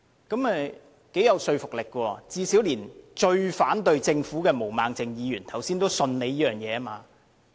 這頗有說服力，最少連最反對政府的毛孟靜議員剛才也表示，相信局長這番話。